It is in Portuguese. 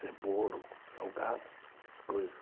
é bolo, salgados, essas coisas.